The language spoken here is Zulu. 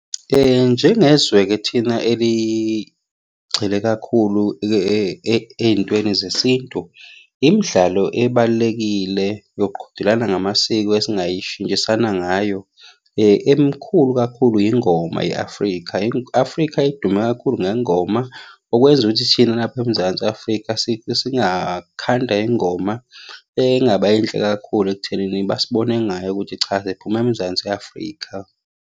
Njengezwe-ke thina eligxile kakhulu ey'ntweni zesintu, imidlalo ebalulekile yoqhudelana ngamasiko esingayishintshisana ngayo, emikhulu kakhulu yingoma ye-Afrika. I-Afrika idume kakhulu ngengoma, okwenza ukuthi thina lapha emzansi Afrika singakhanda ingoma engaba yinhle kakhulu ekuthenini basibone ngayo ukuthi cha siphuma emzansi Afrika.